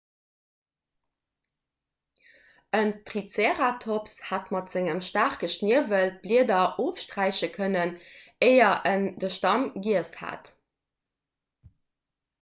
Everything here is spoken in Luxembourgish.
en triceratops hätt mat sengem staarke schniewel d'blieder ofsträife kënnen éier en de stamm giess hätt